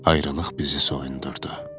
ayrılıq bizi soyundurdu.